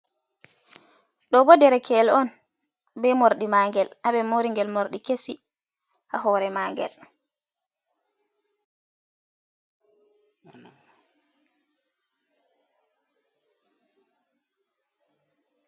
Ɗo bo ɗerekel on be morɗi maagel. Habe mori ngel morɗi kesi ha hore magel.